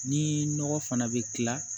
Ni nɔgɔ fana bɛ kila